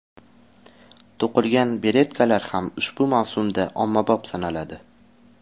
To‘qilgan beretkalar ham ushbu mavsumda ommabop sanaladi.